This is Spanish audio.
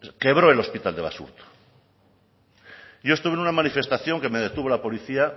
quebró el hospital de basurto yo estuve en una manifestación que me detuvo la policía